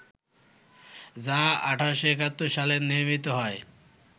যা ১৮৭১ সালে নির্মিত হয়